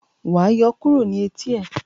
wá yọ kúrò ní Etí e!